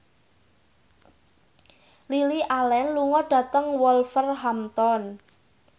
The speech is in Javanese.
Lily Allen lunga dhateng Wolverhampton